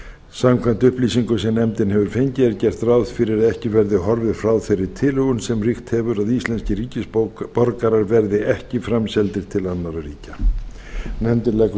samkvæmt upplýsingum sem nefndin hefur fengið er gert ráð fyrir að ekki verði horfið frá þeirri tilhögun sem ríkt hefur að íslenskir ríkisborgarar verði ekki framseldir til annarra ríkja nefndin leggur